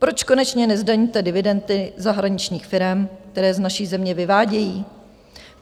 Proč konečně nezdaníte dividendy zahraničních firem, které z naší země vyvádějí?